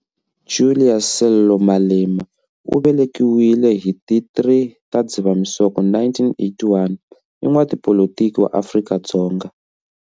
Julius Sello Malema, u velekiwile hi ti 3 ta Dzivamisoko 1981, i n'watipolitiki wa Afrika-Dzonga.